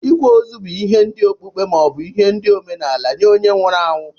ikwa ozu bu ihe ndi okpukpe ma obu ndi omenala nye onye nwụrụ anyụ.